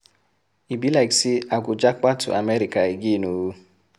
E be like say I go japa to America again ooo